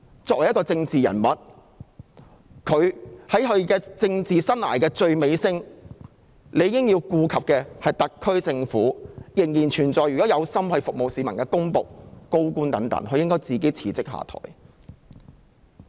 作為政治人物，她在政治生涯的最尾聲，如果顧及特區政府及仍有意服務市民的公僕和高官等，她應該自行辭職下台。